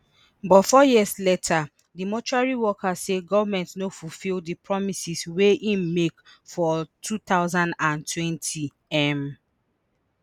but four years later di mortuary workers say goment no fulfil di promises wey im make for two thousand and twenty um